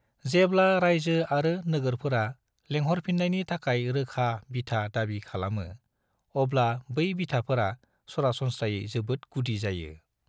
जेब्ला रायजो आरो नोगोरफोरा लेंहरफिननायनि थाखाय रोखा बिथा दाबि खालामो, अब्ला बै बिथाफोरा सरासनस्रायै जोबोद गुदि जायो।